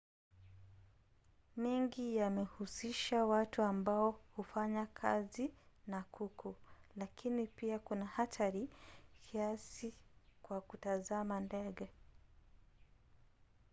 mengi yamehusisha watu ambao hufanya kazi na kuku lakini pia kuna hatari kiasi kwa watazama ndege